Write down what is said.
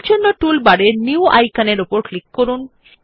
তাই টুলবারের নিউ আইকনের উপর ক্লিক করুন